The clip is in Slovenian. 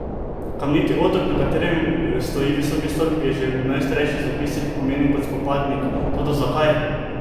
Kamniti otok, na katerem stoji Visoki stolp, je že v najstarejših zapisih omenjen kot Spopadnik, toda zakaj?